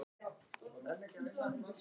Ég er bara ekki til í að tala um þetta.